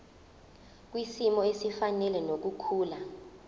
kwisimo esifanele nokukhula